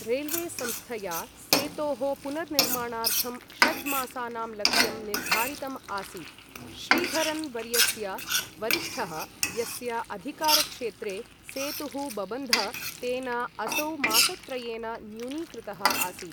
Railway संस्थया सेतोः पुनर्निर्माणार्थं षड्मासानां लक्ष्यं निर्धारितम् आसीत्, श्रीधरन् वर्यस्य वरिष्ठः, यस्य अधिकारक्षेत्रे सेतुः बबन्ध, तेन असौ मासत्रयेन न्यूनीकृतः आसीत्।